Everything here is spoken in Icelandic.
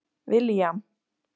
William